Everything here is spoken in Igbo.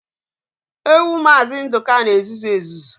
Ewu maazi Nduka n'ezuzu ezuzu